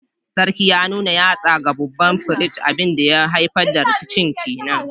Sarkin ya nuna yatsa ga babban firist, abin da ya haifar da rikicin ke nan